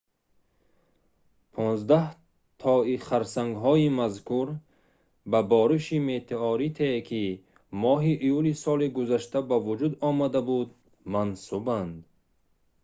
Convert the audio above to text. понздаҳтои харсангҳои мазкур ба бориши метеоритие ки моҳи июли соли гузашта ба вуҷуд омада буд мансубанд